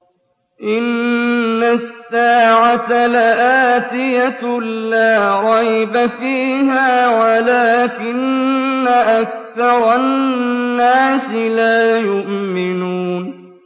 إِنَّ السَّاعَةَ لَآتِيَةٌ لَّا رَيْبَ فِيهَا وَلَٰكِنَّ أَكْثَرَ النَّاسِ لَا يُؤْمِنُونَ